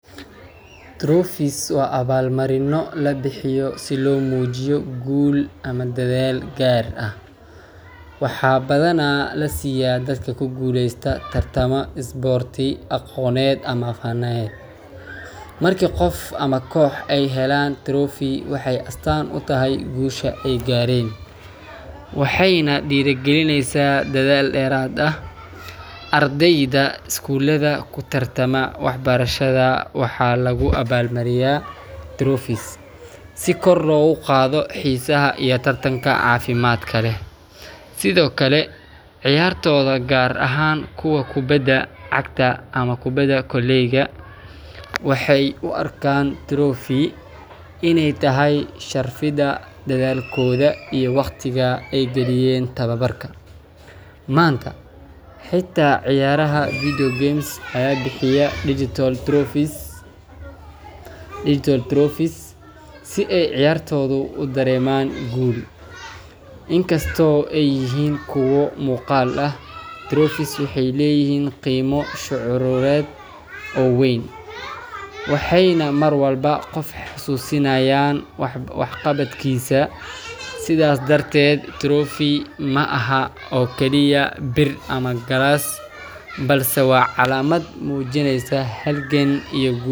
Trophies waa abaalmarinno la bixiyo si loo muujiyo guul ama dadaal gaar ah. Waxaa badanaa la siiyaa dadka ku guuleysta tartamo isboorti, aqooneed, ama faneed. Markii qof ama koox ay helaan trophy, waxay astaan u tahay guusha ay gaareen, waxayna dhiirrigelinaysaa dadaal dheeraad ah. Ardayda iskuulada ku tartama waxbarashada waxaa lagu abaalmariyaa trophies si kor loogu qaado xiisaha iyo tartanka caafimaadka leh. Sidoo kale, ciyaartooyda, gaar ahaan kuwa kubadda cagta ama kubadda koleyga, waxay u arkaan trophy inay tahay sharfidda dadaalkooda iyo wakhtiga ay galiyeen tababarka. Maanta, xitaa ciyaaraha video games ayaa bixiya digital trophies si ay ciyaartoydu u dareemaan guul. Inkastoo ay yihiin kuwo muuqaal ah, trophies waxay leeyihiin qiimo shucuureed oo weyn, waxayna mar walba qofka xusuusinayaan waxqabadkiisa. Sidaas darteed, trophy ma aha oo kaliya bir ama galaas, balse waa calaamad muujinaysa halgan iyo guul.